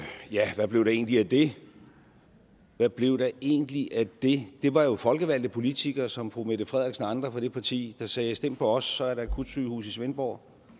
ja hvad blev der egentlig af det hvad blev der egentlig af det det var jo folkevalgte politikere som fru mette frederiksen og andre fra det parti der sagde at stem på os for så er der et akutsygehus i svendborg